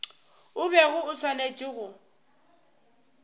o bego o swanetše go